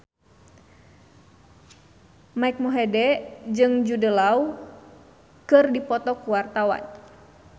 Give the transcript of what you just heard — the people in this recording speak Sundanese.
Mike Mohede jeung Jude Law keur dipoto ku wartawan